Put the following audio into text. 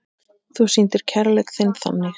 Þú sýndir kærleik þinn þannig.